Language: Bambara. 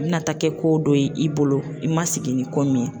A bɛna taa kɛ ko dɔ ye i bolo i ma sigi ni kɔ min ye.